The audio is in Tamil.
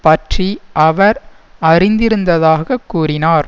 பற்றி அவர் அறிந்திருந்ததாகக் கூறினார்